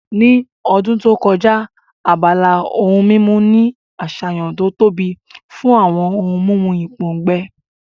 Ní ọdún tó kọjá, abala ohun mímu ní àṣàyàn tó tóbi fún àwọn ohun mímu ìpòǹgbẹ